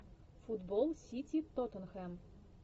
футбол сити тоттенхэм